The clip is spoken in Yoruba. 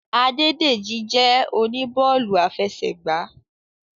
Adédèjì jẹ́ oníbọ́ọ̀lù afẹsẹ̀gbá